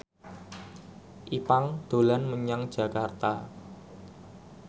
Ipank dolan menyang Jakarta